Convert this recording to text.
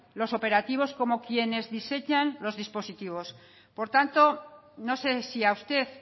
los operativos como quienes diseñan los dispositivos por tanto no sé si a usted